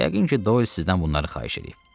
Yəqin ki, Doy sizdən bunları xahiş edib.